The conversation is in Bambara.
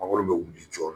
Mangoro bɛ wuli jɔ